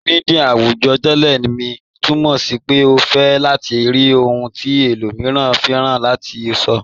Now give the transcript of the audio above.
Lọri míḍíà awùjọ́, "tẹlẹ̀ mi" túmọ̀ sí pé o fẹ́ látì rí ohun tí ẹlòmíran fíranṣẹ̀ àti sọ́.